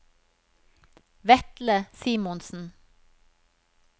Vetle Simonsen